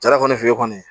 Jara kɔni fe yen kɔni